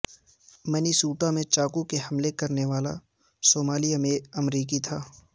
Minnesota میں چاقو سے حملہ کرنے والا صومالی امریکی تھا